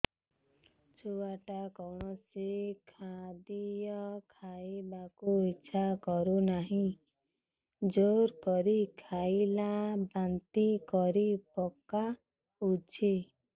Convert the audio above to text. ଛୁଆ ଟା କୌଣସି ଖଦୀୟ ଖାଇବାକୁ ଈଛା କରୁନାହିଁ ଜୋର କରି ଖାଇଲା ବାନ୍ତି କରି ପକଉଛି